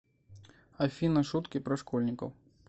афина шутки про школьников